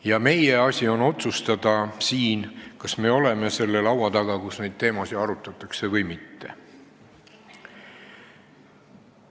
Ja meie asi on siin otsustada, kas me oleme selle laua taga, kus neid teemasid arutatakse, või mitte.